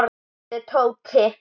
spurði Tóti.